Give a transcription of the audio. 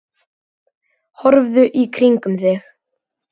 Horfðu í kringum þig!